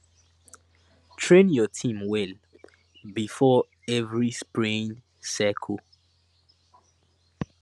train your team well before every spraying cycle